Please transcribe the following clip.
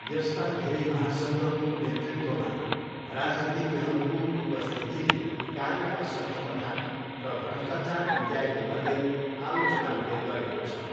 यस्ता धेरै महासङ्घको नेतृत्वमा, राजनीतिज्ञहरूको उपस्थितिले कार्य असक्षमता र भ्रष्टाचार निम्त्याएको भन्दै आलोचना हुने गरेको छ।